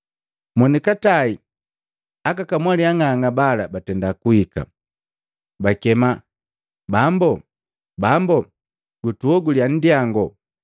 “Monikatae aka kamwali ang'ang'a bala batenda kuhika, bakema, ‘Bambo, bambo, tuoguliya nndyango!’